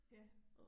Ja